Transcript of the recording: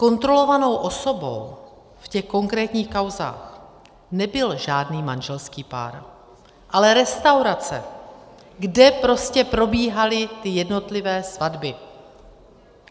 Kontrolovanou osobou v těch konkrétních kauzách nebyl žádný manželský pár, ale restaurace, kde prostě probíhaly ty jednotlivé svatby.